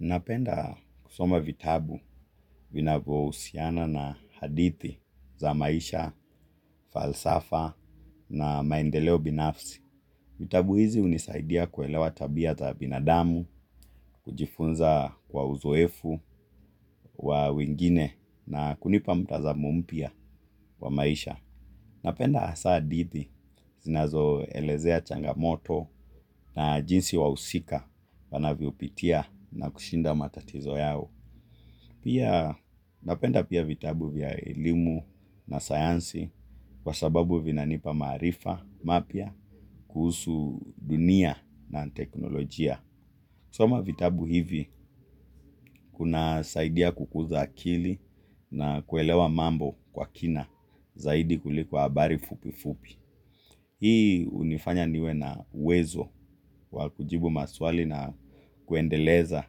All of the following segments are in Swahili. Napenda kusoma vitabu vinavyo husiana na hadithi za maisha, falsafa na maendeleo binafsi. Vitabu hizi hunisaidia kuelewa tabia za binadamu, kujifunza kwa uzoefu wa wengine na kunipa mtazamo mpya wa maisha. Napenda hasaa hadithi zinazo elezea changamoto na jinsi wahusika wanavyo pitia na kushinda matatizo yao. Pia napenda pia vitabu vya elimu na sayansi kwa sababu vina nipa marifa mapya kuhusu dunia na teknolojia. kusoma vitabu hivi kuna saidia kukuza akili na kuelewa mambo kwa kina zaidi kuliko habari fupi fupi. Hii hunifanya niwe na uwezo wa kujibu maswali na kuendeleza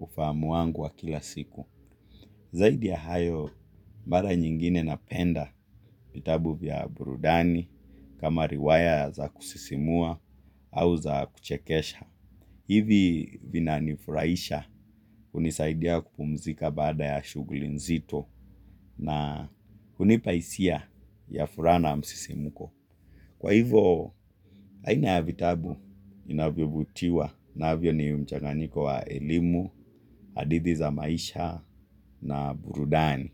ufahamu wangu wa kila siku. Zaidi ya hayo, mara nyingine napenda vitabu vya burudani kama riwaya za kusisimua au za kuchekesha. Hivi vina nifuraisha hunisaidia kupumzika baada ya shuguli nzito na hunipa hisia ya furaha na msisimuko. Kwa hivo, aina ya vitabu vinavyovutiwa navyo ni mchanganiko wa elimu, hadithi za maisha na burudani.